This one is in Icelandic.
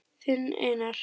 Þinn Einar.